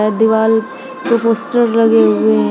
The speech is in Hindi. ये दीवाल पे पोस्टर लगे हुए हैं।